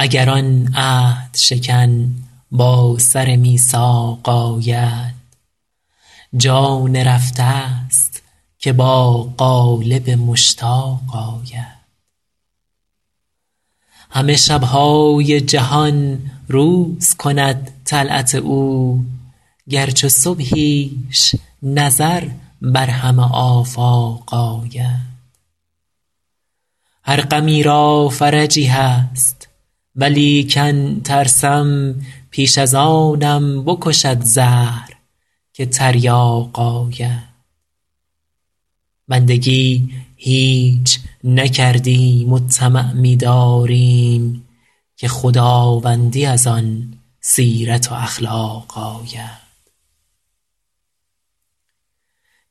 اگر آن عهدشکن با سر میثاق آید جان رفته ست که با قالب مشتاق آید همه شب های جهان روز کند طلعت او گر چو صبحیش نظر بر همه آفاق آید هر غمی را فرجی هست ولیکن ترسم پیش از آنم بکشد زهر که تریاق آید بندگی هیچ نکردیم و طمع می داریم که خداوندی از آن سیرت و اخلاق آید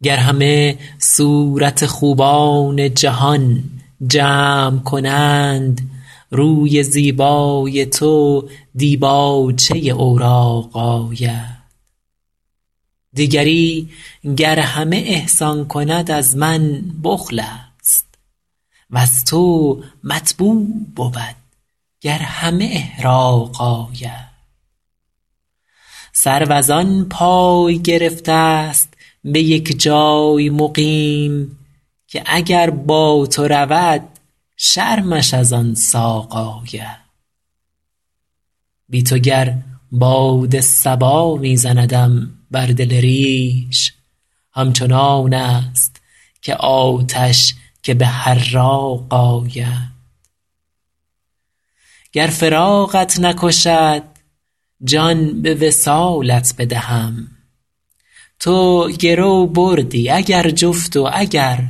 گر همه صورت خوبان جهان جمع کنند روی زیبای تو دیباچه اوراق آید دیگری گر همه احسان کند از من بخل است وز تو مطبوع بود گر همه احراق آید سرو از آن پای گرفته ست به یک جای مقیم که اگر با تو رود شرمش از آن ساق آید بی تو گر باد صبا می زندم بر دل ریش همچنان است که آتش که به حراق آید گر فراقت نکشد جان به وصالت بدهم تو گرو بردی اگر جفت و اگر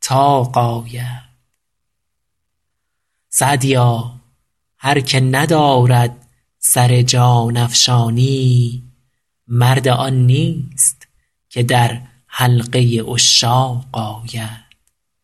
طاق آید سعدیا هر که ندارد سر جان افشانی مرد آن نیست که در حلقه عشاق آید